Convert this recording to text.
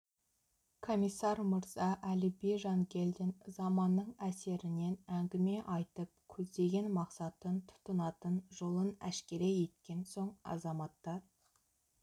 комиссар мырза әліби жангелдин заманның әсерінен әңгіме айтып көздеген мақсатын тұтынатын жолын әшкере еткен соң азаматтар